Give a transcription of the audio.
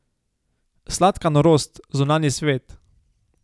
Sladka norost, zunanji svet!